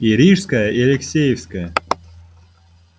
и рижская и алексеевская